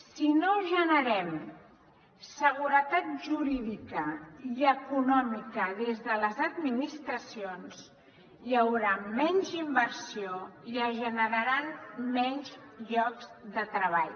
si no generem seguretat jurídica i econòmica des de les administracions hi haurà menys inversió i es generaran menys llocs de treball